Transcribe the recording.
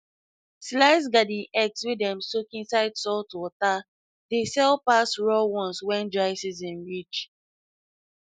sliced garden eggs wey dem soak inside saltwater dey sell pass raw ones when dry season reach